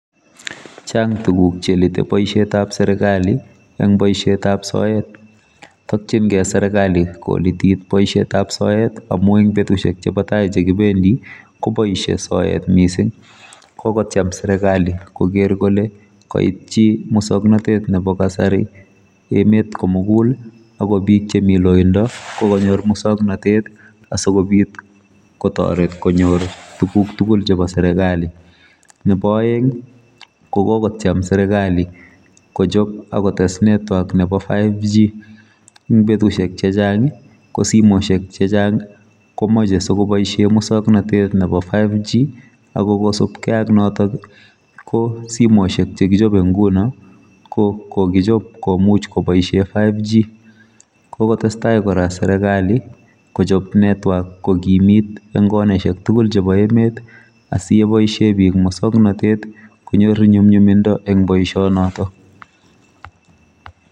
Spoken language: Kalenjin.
Chang tuguk chelite boisietab serikai eng boisietap soet tokyingei serikali kolitit boisietab soet amu eng betusiekab tai chekibendi koboisie soet mising kokotyem serikali koker kole kaityi muswoknotet nebo kasari emet komugul ako bik chemi loindo kokakonyor musoknatet asikobit kotoret konyor tuguk tugul chebo serikali. Nebo aeng kokokotyem serikali kochop akotes network nebo 5G eng betusiek chechang ko simosiek chechang komovhe sikoboisie muswoknatet nebo 5G akokosupkei ak notok ko simosiek chekichope nguno kokokichop komuch koboisie 5G kokotestai kora serikali kochop network kokimit eng konaisiek tugul chebo emet asiyeboisie bik muswonatet konyoru nyumnyumindo eng boisionotok.